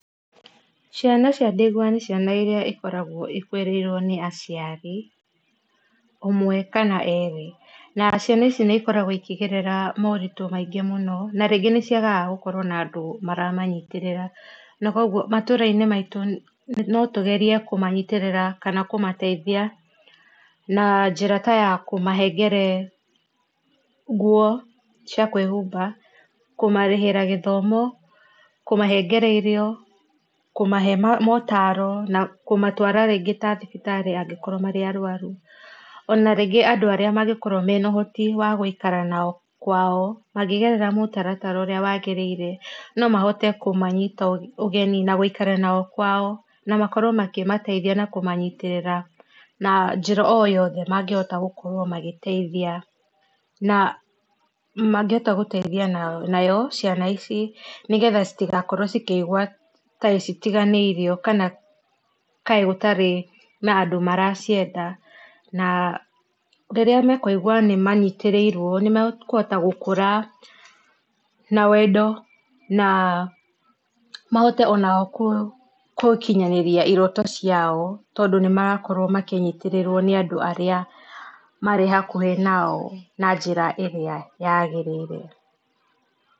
Ciana cia ndigwa nĩ ciana irĩa ikoragwo ikũĩrĩirwo nĩ aciari, ũmwe kana erĩ, na ciana ici nĩ ikoragwo ikĩgerera maũritũ maingĩ mũno na rĩngĩ nĩ ciagaga gũkorwo na andũ mara manyitĩrĩra na kũogũo matũra inĩ maĩtũ no tũgerĩe kũmanyĩtĩrĩra kana kũmateĩthia na njĩra ta ya kũmahengere nguo cĩa kwĩhũmba kũmarĩhĩra gĩthomo kũmahengere irio kũmahe maũtaro na kũmatwara rĩngĩ ta thibitari angĩkorwo marĩ arwarũ ona rĩngĩ andũ arĩa mangĩ korwo mena ũhoti wa gũikara na o kwao mangĩgerera mũtaratara ũrĩa wagĩrĩire no mahote kũmanyĩta ũgenĩ na gũĩkarania na o kwao na makorwo makĩmateĩthĩa na kũmanyĩtĩrĩrĩra na njĩra o yothe mangĩ hota gũkorwo makĩmateĩthia na mangĩ hota kũmateithia nayo ciana ici nĩ getha ĩtĩgakorwo ĩkĩigũa ata itĩganĩiriokana kaĩ gũtarĩ na andũ maracienda na rĩrĩa mekũĩgũa nyitĩrĩirwo nĩ mekũhota gũkũra na wendo na mahote onao gũkĩnyanĩria iroto cia o tondũ nĩmarakorwo amakĩnyĩtĩrĩrwo nĩ andũ arĩamarĩ hakũhĩ nao na njĩra ĩrĩa yagĩrĩire.